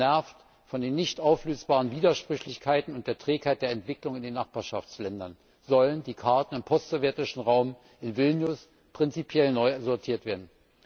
Genervt von den nicht auflösbaren Widersprüchlichkeiten und der Trägheit der Entwicklung in den Nachbarschaftsländern sollen in Vilnius die Karten im postsowjetischen Raum prinzipiell neu sortiert werden.